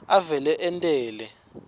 avele ente le